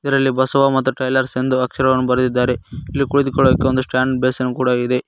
ಇದರಲ್ಲಿ ಬಸವ ಮತ್ತು ಟ್ರೈಲರ್ಸ್ ಎಂದು ಅಕ್ಷರವನ್ನು ಬರದಿದ್ದಾರೆ ಇಲ್ಲಿ ಕುಳಿತುಕೊಳ್ಳಕೆ ಒಂದು ಸ್ಟಾಂಡ್ ಬೇಸಿನ್ ಕೂಡ ಇದೆ.